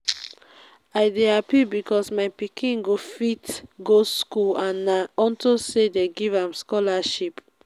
i dey happy because my pikin go fit go school and na unto say dey give am scholarship